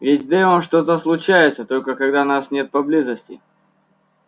ведь с дейвом что-то случается только когда нас нет поблизости